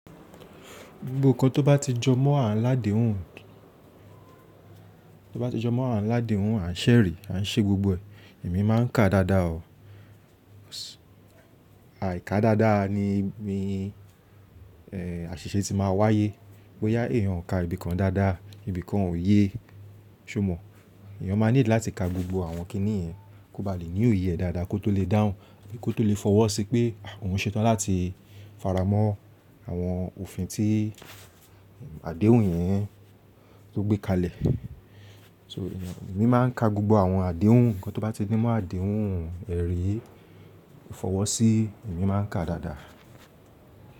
Gbogbo nǹkan tó bá ti jọ mọ́ àǹládèhùn, tó bá ti jọ mọ́ àǹládèhùn àǹṣẹ̀rí, àǹṣe gbogbo ẹ̀, èmi máa ń kà dáadáa o. Àì ká dáadáa ni èmi, àṣìṣe ti máa wáyé. Bóyá èèyàn o kà ibìkan dáadáa, ibìkan ò yé, ṣo mọ̀? Èèyàn máa need láti ka gbogbo àwọn kiní yẹn, kó ba lè ní òye ẹ dáadáa kó tó lè dáhùn, kó tó lè fọwọ́ sí pé òun ṣetán láti faramọ́ àwọn òfin tí àdéhùn yẹn tó gbé kalẹ̀. So èmi máa ń ka gbogbo àwọn àdéhùn, nǹkan tó bá ti ní mọ́ àdéhùn ẹ̀rí, ìfọwọ́sí, èmi máa ń kà dáadáa.